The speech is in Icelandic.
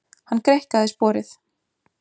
Hann greikkaði sporið.